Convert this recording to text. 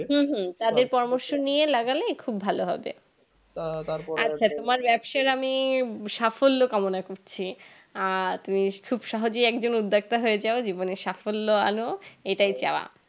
তাদের পরামর্শ নিয়ে লাগালে খুব ভালো হবে তোমার ব্যাবসায় আমি সাফল্য কামনা করছি আর তুমি খুব সহজে একজন উদ্যোগতা হয়ে যায় জীবনে সাফল্য আনো এটাই চাওয়া